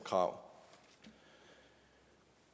krav